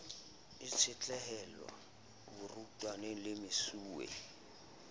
e tshetlehela barutwana le mesuwe